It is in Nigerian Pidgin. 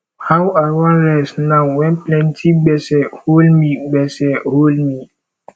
how i wan rest now wen plenty gbese hol me gbese hol me